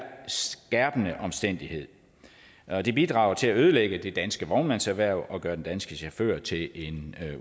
skærpende omstændighed og det bidrager til at ødelægge det danske vognmandserhverv og gøre den danske chauffør til en